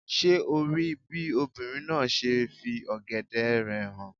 Ṣé o rí bí obìnrin náà ṣe fi ọ̀gẹ̀dẹ̀ rẹ̀ hàn